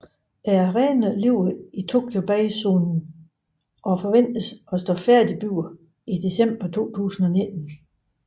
Arenaen ligger i Tokyo Bay zonen og forventes at stå færdigbygget i december 2019